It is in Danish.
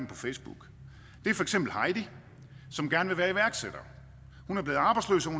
på facebook det er for eksempel heidi som gerne vil være iværksætter hun er blevet arbejdsløs og